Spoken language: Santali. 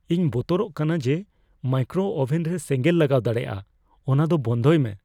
ᱤᱧ ᱵᱚᱛᱚᱨᱚᱜ ᱠᱟᱱᱟ ᱡᱮ ᱢᱟᱭᱠᱨᱳ ᱳᱵᱷᱮᱱ ᱨᱮ ᱥᱮᱸᱜᱮᱞ ᱞᱟᱜᱟᱣ ᱫᱟᱲᱮᱭᱟᱜᱼᱟ ᱾ ᱚᱱᱟ ᱫᱚ ᱵᱚᱱᱫᱚᱭ ᱢᱮ ᱾